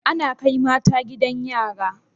Ana Kai mata gidan yari